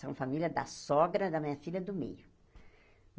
São famílias da sogra da minha filha do meio.